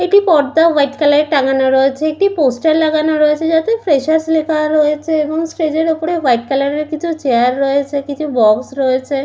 একটি পর্দা white colour টাঙানো রয়েছে একটি পোস্টার লাগানো রয়েছে যাতে ফ্রেশার্স লেখা রয়েছে এবং স্টেজ এর ওপরে হোয়াইট কালার এর কিছু চেয়ার রয়েছে কিছু বক্স রয়েছে।